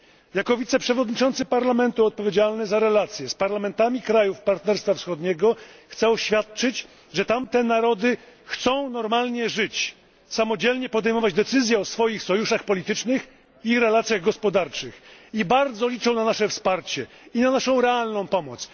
Jako wiceprzewodniczący Parlamentu Europejskiego odpowiedzialny za relacje z parlamentami krajów Partnerstwa Wschodniego chcę oświadczyć, że tamte narody chcą normalnie żyć, samodzielnie podejmować decyzje o swoich sojuszach politycznych i relacjach gospodarczych i bardzo liczą na nasze wsparcie i na naszą realną pomoc.